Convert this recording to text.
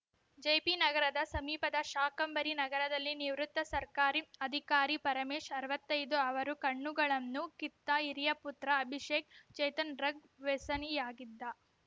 ಜೆಪಿನಗರದ ಸಮೀಪದ ಶಾಕಾಂಬರಿ ನಗರದಲ್ಲಿ ನಿವೃತ್ತ ಸರ್ಕಾರಿ ಅಧಿಕಾರಿ ಪರಮೇಶ್‌ ಅರವತ್ತೈದು ಅವರ ಕಣ್ಣುಗಳನ್ನು ಕಿತ್ತ ಹಿರಿಯ ಪುತ್ರ ಅಭಿಷೇಕ್‌ ಚೇತನ್‌ ಡ್ರಗ್‌ ವೆಸನಿಯಾಗಿದ್ದ